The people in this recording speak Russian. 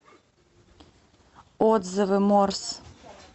отзывы морс